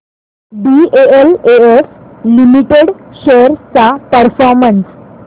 DLF limited shares चा performance